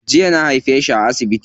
Jiya na haife shi a asibiti.